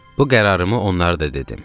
Bu qərarımı onlara da dedim.